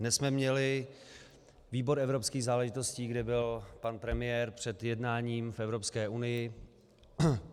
Dnes jsme měli výbor evropských záležitostí, kde byl pan premiér před jednáním v Evropské unii.